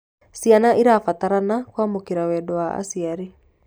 Ciana irabatarana kuamukira wendo wa aciari